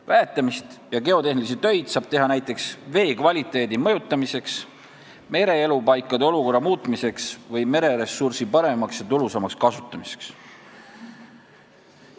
Väetamist ja geotehnilisi töid saab teha näiteks veekvaliteedi mõjutamiseks, mereelupaikade olukorra muutmiseks või mereressursi paremaks ja tulusamaks kasutamiseks.